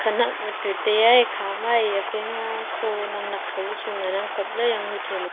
anak bu tu taiya ekhama eya phaima kho naknak ka bu chu ngan ang kapley yanghu thaiba.